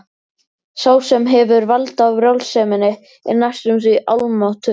Sá sem hefur vald á brjálseminni er næstum því almáttugur.